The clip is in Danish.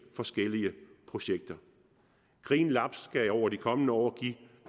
forskellige projekter green labs skal over de kommende år give